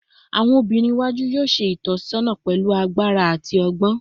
Awọn obinrin iwaju yoo ṣe itọsọna pẹlu agbara ati ọgbọn